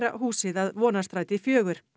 húsið að Vonarstræti fjórðu